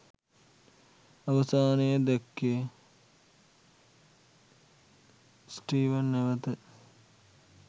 අවසානයේ දැක්කේ ස්ටීවන් නැවත